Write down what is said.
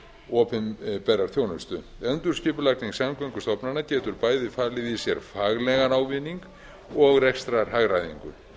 og opinberrar þjónustu endurskipulagning samgöngustofnana getur bæði falið í sér faglegan ávinning og rekstrarhagræðingu